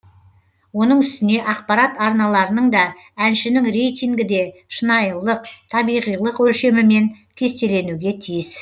оның үстіне ақпарат арналарының да әншінің рейтингі де шынайылылық табиғилық өлшемімен кестеленуге тиіс